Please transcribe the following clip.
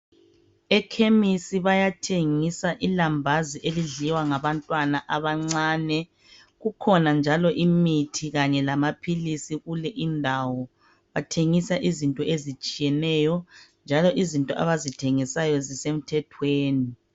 Ekhemisi bayathengisa ilambazi elidliwa ngabantwana abancinyane kukhona njalo imithi kanye lama philizi kuleyindawo bathengisa izinto ezitshiyeneyo njalo izinto abazithengisayo zisemthethweni.